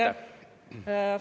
Aitäh!